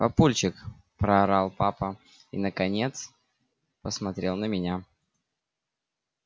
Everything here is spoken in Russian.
папульчик проорал папа и наконец посмотрел на меня